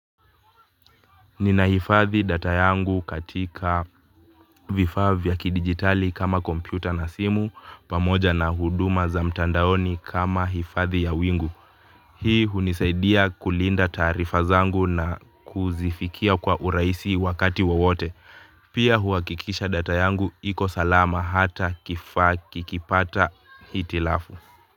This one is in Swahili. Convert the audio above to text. Ninahifadhi data yangu katika vifaa vya kidigitali kama kompyuta na simu pamoja na huduma za mtandaoni kama hifadhi ya wingu. Hii hunisaidia kulinda taarifa zangu na kuzifikia kwa urahisi wakati wowote. Pia huhakikisha data yangu iko salama hata kifaa kikipata hitilafu.